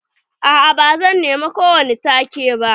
A'a ba zan nema ko wani take ba.